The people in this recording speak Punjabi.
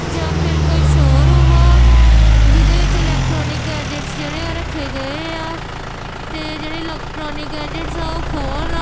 ਜਾਂ ਫੇਰ ਕੋਈ ਸ਼ੋਰੂਮ ਆ ਜਿਹਦੇ ਵਿੱਚ ਇਲੈਕਟ੍ਰੋਨਿਕ ਗੈਜੇਟਸ ਜਿਹੜੇ ਆ ਰੱਖੇ ਗਏ ਆ ਤੇ ਜਿਹੜੇ ਇਲੈਕਟ੍ਰੋਨਿਕ ਗੈਜੇਟਸ ਆ ਓਹ ਫੋ--